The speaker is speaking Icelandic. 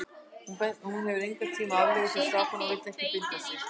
Hún hefur engan tíma aflögu fyrir stráka og vill ekki binda sig.